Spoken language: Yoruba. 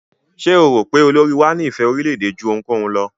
Ṣé o rò pé olórí wá ní ìfé orílẹ̀-èdè jú ohunkóhun lọ?